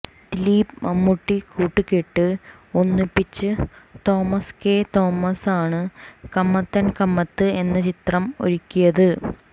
ദിലീപ് മമ്മൂട്ടി കൂട്ടുകെട്ട് ഒന്നിപ്പിച്ച് തോമസ് കേ തോമസാണ് കമത്ത് ആന്റ് കമ്മത്ത് എന്ന ചിത്രം ഒരുക്കിയത്